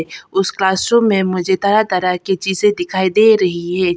उस क्लासरूम में मुझे तरह तरह की चीजे दिखाई दे रही है।